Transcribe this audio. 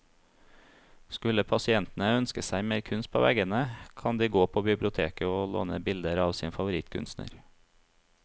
Skulle pasientene ønske seg mer kunst på veggene, kan de gå på biblioteket å låne bilder av sin favorittkunstner.